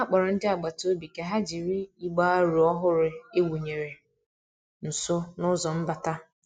Ha kpọrọ ndị agbata obi ka ha jiri igbe aro ọhụrụ e wụnyere nso n'ụzọ mbata.